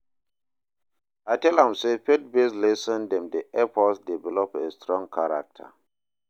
I tell am sey faith-based lesson dem dey help us develop a strong character.